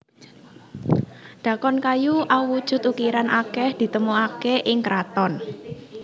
Dhakon kayu awujud ukiran akeh ditemokake ing kraton